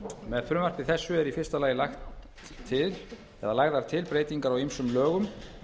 með frumvarpi þessu eru í fyrsta lagi lagðar til breytingar á ýmsum lögum